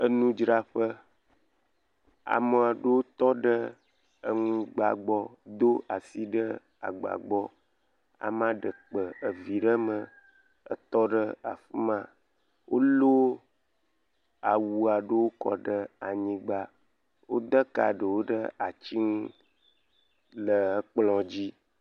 Enu dzraƒe. Ame aɖewo tɔ ɖe enugba gbɔ Do asi ɖe agba gbɔ. Amea ɖe kpa evi ɖe mee etɔ ɖe afima. Wolɔ awu aɖewo kɔ ɖe anyigba. Wo de ka ɖewo ɖe ati ŋu le ekplɔ dzi.